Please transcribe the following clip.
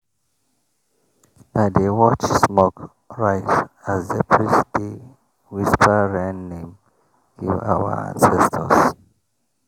i dey watch smoke rise as the priest dey whisper rain name give our ancestors.